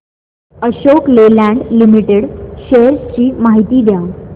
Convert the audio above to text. Ashok Leyland limited shares ची माहिती द्या